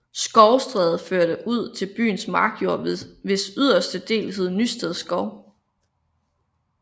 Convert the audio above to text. Skovstræde førte ud til byens markjord hvis yderste dele hed Nysted Skov